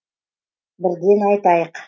бірден айтайық